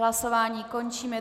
Hlasování končím.